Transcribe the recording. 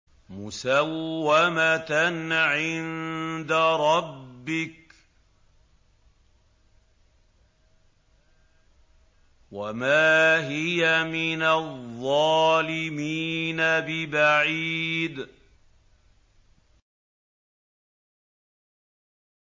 مُّسَوَّمَةً عِندَ رَبِّكَ ۖ وَمَا هِيَ مِنَ الظَّالِمِينَ بِبَعِيدٍ